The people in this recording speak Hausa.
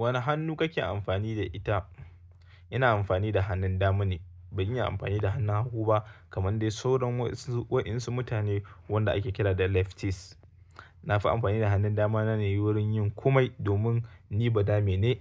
Wane hannu kake amfani da ita? Ina amfani da hannun dama ne, ban iya amfani da hannun hagu ba kamar dai sauran wasu waɗansu mutane wanda ake kira da lefties. Na fi amfani da hannun dama na ne wurin yin komai domin ni badame ne.